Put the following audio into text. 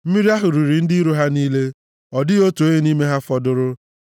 Mmiri ahụ riri ndị iro ha niile; ọ dịghị otu onye nʼime ha fọdụrụ.